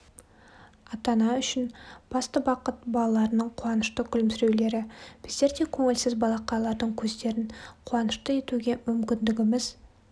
ата-ана үшін басты бақыт балаларының қуанышты күлімсіреулері біздер де көңілсіз балақайлардың көздерін қуанышты етуге мүмкіндігіміз